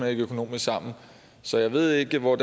ikke økonomisk sammen så jeg ved ikke hvor